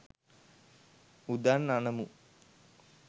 උදන් අනමු.